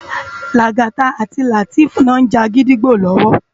Lagata àti Lateef ló n já gidigbó lòwò